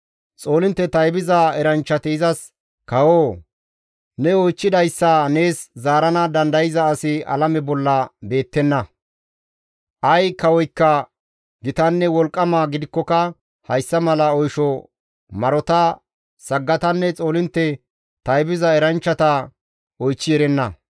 Xoolintte taybiza eranchchati izas, «Kawoo! Ne oychchidayssa nees zaarana dandayza asi alame bolla beettenna; ay kawoykka gitanne wolqqama gidikkoka hayssa mala oysho marota, saggatanne xoolintte taybiza eranchchata oychchi erenna.